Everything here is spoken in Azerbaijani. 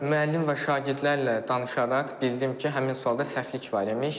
Müəllim və şagirdlərlə danışaraq bildim ki, həmin sualda səhvlik var imiş.